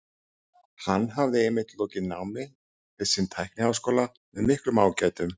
Hann hafði einmitt lokið námi við sinn tækniháskóla með miklum ágætum.